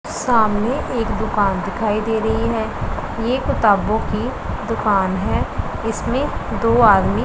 सामने एक दुकान दिखाई दे रही है ये किताबों की दुकान है इसमें दो आदमी--